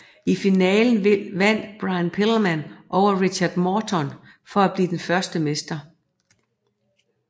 I finalen vandt Brian Pillman over Richard Morton for at blive den første mester